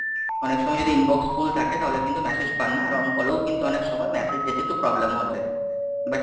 অনেক সময় যদি Inbox full থাকে তাহলে কিন্তু message পান না, আর On call ও কিন্তু অনেক সময় message যেতে একটু problem হয় যায়, butt,